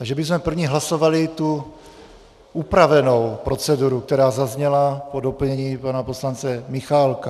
Takže bychom první hlasovali tu upravenou proceduru, která zazněla po doplnění pana poslance Michálka.